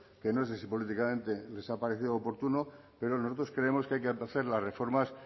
que no sé si políticamente les ha parecido oportuno pero nosotros creemos que hay que hacer las reformas